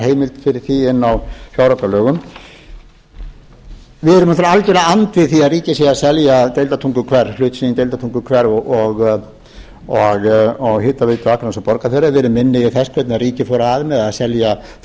fyrir því inni á fjáraukalögum við erum náttúrlega algjörlega andvíg því að ríkið sé að selja hlut sinn í deildartunguhver og hitaveitu akraness og borgarfjarðar við erum minnugir þess hvernig ríkið fór að með að selja fimmtán prósenta